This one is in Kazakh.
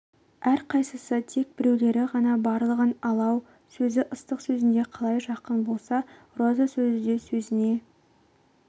әрқайсысы тек біреулері ғана барлығы алау сөзі ыстық сөзіне қалай жақын болса роза сөзі де сөзіне